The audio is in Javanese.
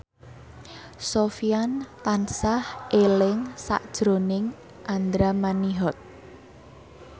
Sofyan tansah eling sakjroning Andra Manihot